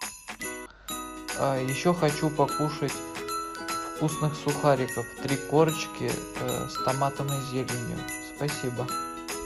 а еще хочу покушать вкусных сухариков три корочки с томатом и зеленью спасибо